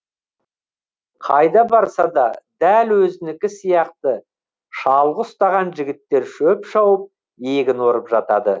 қайда барса да дәл өзінікі сияқты шалғы ұстаған жігіттер шөп шауып егін орып жатады